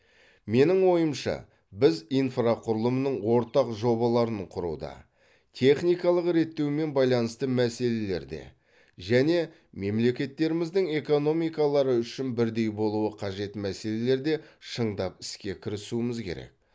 менің ойымша біз инфрақұрылымның ортақ жобаларын құруда техникалық реттеумен байланысты мәселелерде және мемлекеттеріміздің экономикалары үшін бірдей болуы қажет мәселелерде шындап іске кірісуіміз керек